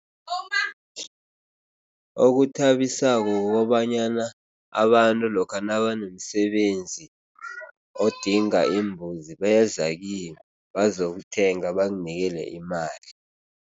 Okuthabisako kukobanyana abantu lokha nabanomsebenzi odinga imbuzi beza kimi bazokuthenga, banginikele imali.